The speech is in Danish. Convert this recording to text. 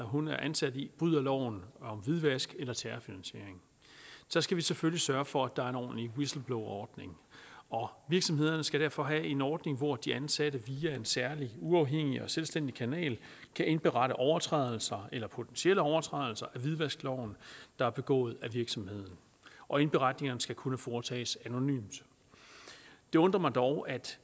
hun er ansat i bryder loven om hvidvask eller terrorfinansiering så skal vi selvfølgelig sørge for at der er en ordentlig whistleblowerordning og virksomhederne skal derfor have en ordning hvor de ansatte via en særlig uafhængig og selvstændig kanal kan indberette overtrædelser eller potentielle overtrædelser af hvidvaskloven der er begået af virksomheden og indberetningerne skal kunne foretages anonymt det undrer mig dog at